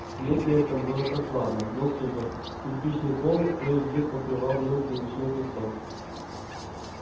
в склепе этом было прохладно но сухо кирпичный пол кое где покрывал мелкий речной песок